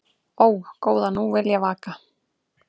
Ó, góða nú vil ég vaka